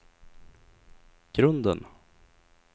grunden